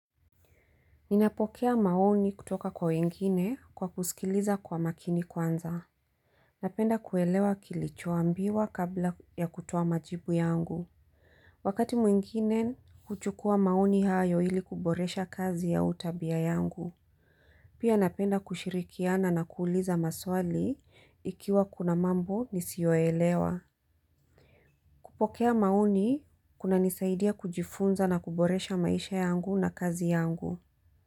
Ninapokea maoni kutoka kwa wengine kwa kusikiliza kwa makini kwanza. Napenda kuelewa kilichoambiwa kabla ya kutoa majibu yangu. Wakati mwingine, huchukua maoni hayo ili kuboresha kazi au tabia yangu. Pia napenda kushirikiana na kuuliza maswali ikiwa kuna mambo nisiyoelewa. Kupokea maoni, kuna nisaidia kujifunza na kuboresha maisha yangu na kazi yangu.